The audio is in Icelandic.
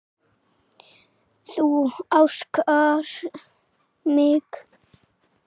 Þú ásakar mig.